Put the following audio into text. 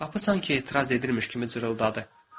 Qapı sanki etiraz edirmiş kimi cırıldadı.